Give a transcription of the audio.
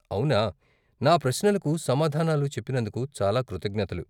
అవునా. నా ప్రశ్నలకు సమాధానాలు చెప్పినందుకు చాలా కృతజ్ఞతలు.